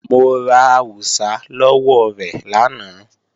Mo ra àwùsá lọ́wọ́ rẹ̀ lánàá